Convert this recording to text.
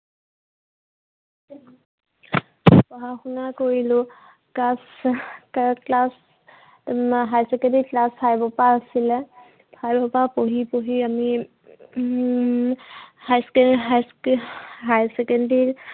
পঢ়া-শুনা কৰিলো। class তাত class um higher secondary, class five ৰ পৰা আছিলে। five ৰ পৰা পঢ়ি পঢ়ি আমি um high, high school, higher secondary